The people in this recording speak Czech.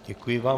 Děkuji vám.